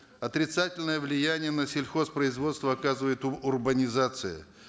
отрицательное влияние на сельхозпроизводство оказывает урбанизация